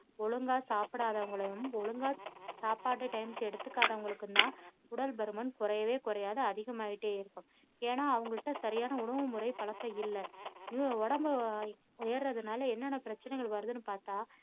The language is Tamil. ஒழுங்கா சாப்பிடாதவங்களையும் ஒழுங்கா சாப்பாடு time க்கு எடுத்துக்காதவங்களுக்கும் தான் உடல்பருமன் குறையவே குறையாது அதிகமாகிட்டே இருக்கும். ஏன்னா அவங்கள்ட சரியான உணவுமுறை பழக்கம் இல்ல நீங்க உடம்ப உயர்ரதுனால என்னென்ன பிரச்சினைகள் வருதுன்னு பார்த்தா